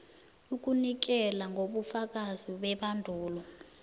ukunikela ngobufakazi bebandulo